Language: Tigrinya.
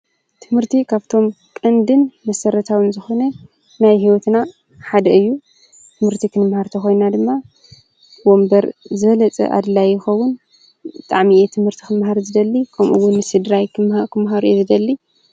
ትምህርቲ ካብቶም ቀንድን መሰረታዊን ዝኮነ ናይ ሂወትና ሓደ እዩ። ትምህርቲ ክንምሃር ተኾይና ድማ ወንበር ዝበለፅ ኣድላይ ይከዉን። ብጣዕሚ እየ ትምህርቲ ክመሃር ዝደሊ ከምኡ ውን ንስድራይ ክመሃሩ እየ ዝደሊ።